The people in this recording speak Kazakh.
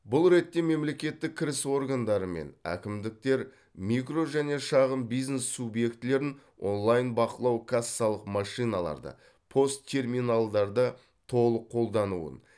бұл ретте мемлекеттік кіріс органдары мен әкімдіктер микро және шағын бизнес субъектілерін онлайн бақылау кассалық машиналарды пост терминалдарды толық қолдануын